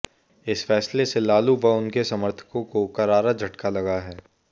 इस फैसले से लालू व उनके समर्थकों को करारा झटका लगा है